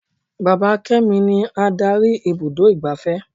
Bàbá kémi ni Ádárì ibùdó igbàfẹ́.